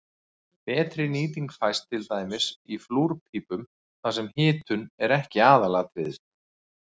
Betri nýting fæst til dæmis í flúrpípum þar sem hitun er ekki aðalatriðið.